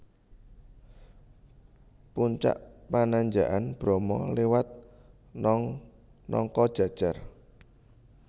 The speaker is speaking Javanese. Puncak Pananjakan Bromo liwat Nongkojajar